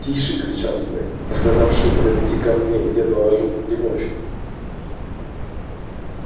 тише кричал снегг пострадавшие подойдите ко мне я наложу примочку